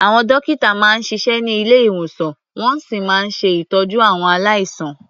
Àwọn dọ́kítà máa ń siṣẹ́ ní ilé-ìwòsàn, wọ́n sì máa ń ṣe ìtọ́jú àwọn aláìsàn.